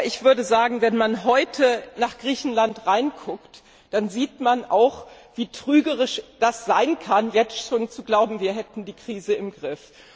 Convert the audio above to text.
Aber ich würde sagen, wenn man heute nach Griechenland schaut, dann sieht man auch, wie trügerisch es sein kann, jetzt schon zu glauben, wir hätten die Krise im Griff.